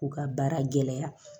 U ka baara gɛlɛya